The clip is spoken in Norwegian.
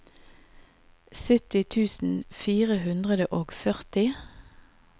sytti tusen fire hundre og førti